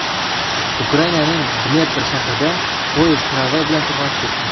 Ukrainaning Dnepr shahrida poyezd tramvay bilan to‘qnashib ketdi.